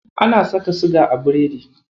Ana saka siga a biredi.